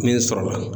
Min sɔrɔla